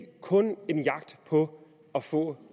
kun en jagt på at få